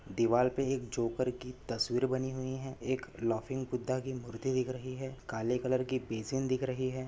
दीवार पे एक जोकर की तस्वीर बनी हुई है। एक लाफिंग बुद्धा की मूर्ति दिख रही है। काले कलर की बेसिन दिख रही है।